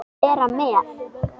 Vera með?